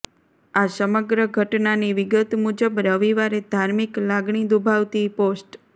આ સમગ્ર ઘટનાની વિગત મુજબ રવિવારે ધાર્મિક લાગણી દુભાવતી પોસ્ટ